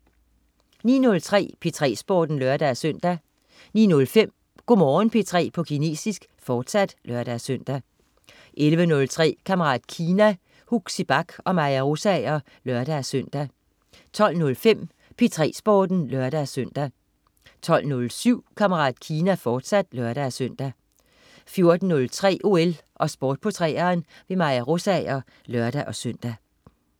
09.03 P3 Sporten (lør-søn) 09.05 Go' Morgen P3 på kinesisk, fortsat (lør-søn) 11.03 Kammerat Kina. Huxi Bach og Maja Rosager (lør-søn) 12.05 P3 Sporten (lør-søn) 12.07 Kammerat Kina, fortsat (lør-søn) 14.03 OL og Sport på 3'eren. Maja Rosager (lør-søn)